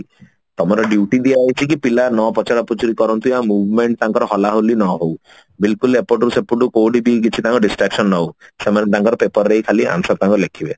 ତମର duty ଦିଆ ହଉଛି କି ପିଲା ନ ପଚରା ପୁଚୁରି କରନ୍ତୁ ବା movement ତାଙ୍କର ହଲାହଲି ନ ହଉ ବିଲକୁଲ ଏପଟରୁ ସେପଟୁ କୋଉଠି କେହି କିଛି କାହାକୁ distraction ନହଉ ସେମାନେ ତାଙ୍କର paper ରେ ହିଁ ଖାଲି answer ତାଙ୍କର ଲେଖିବେ